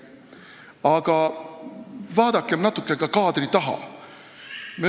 Aga vaadakem natuke ka kaadri taha.